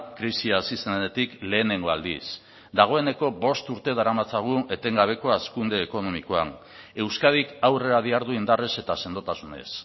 krisi hasi zenetik lehenengo aldiz dagoeneko bost urte daramatzagu etengabekoa hazkunde ekonomikoan euskadik aurrera dihardu indarrez eta sendotasunez